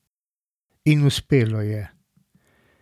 In uspelo je!